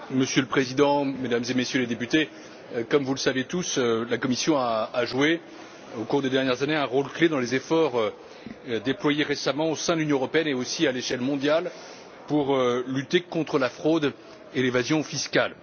Monsieur le Président, Mesdames et Messieurs les députés, comme vous le savez tous, la Commission a joué, au cours des dernières années, un rôle clé dans les efforts déployés récemment au sein de l'Union européenne ainsi qu'à l'échelle mondiale pour lutter contre la fraude et l'évasion fiscale.